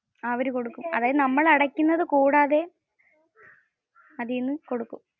ആ അവര് കൊടുക്കും. അതായത് നമ്മൾ അടക്കുന്നത് കൂടാതെ അതിൽ നിന്ന് കൊടുക്കും. അവര് കൊടുക്കും.